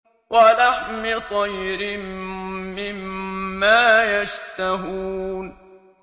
وَلَحْمِ طَيْرٍ مِّمَّا يَشْتَهُونَ